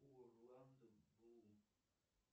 орландо блум